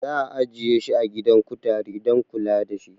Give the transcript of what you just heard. Za'a ajiye shi a gidan kutare dan kula dashi